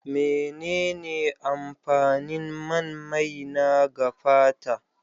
Menene amfanin man maina ga fata?